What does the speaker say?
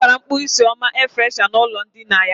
Ọ gbara mkpọ isi ọma air freshna n' ụlọ ndina ya.